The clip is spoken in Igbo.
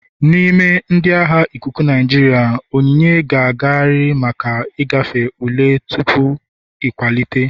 N'ime ndị agha ikuku Naijiria, onyinye ga-agarịrị maka ịgafe ule tupu nkwalite.